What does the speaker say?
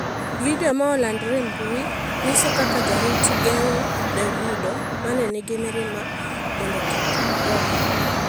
Video ma olandore e mbuyi nyiso ka jorit geng'o Davido mane nigi mirima mondo kik gore.